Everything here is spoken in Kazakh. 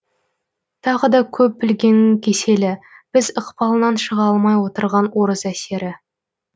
тағы да көп білгеннің кеселі біз ықпалынан шыға алмай отырған орыс әсері